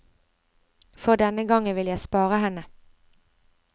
For denne gangen vil jeg spare henne.